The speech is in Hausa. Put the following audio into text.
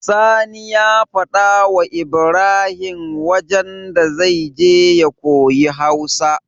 Sani ya faɗa wa Ibrahim wajan da zai je ya koyi hausa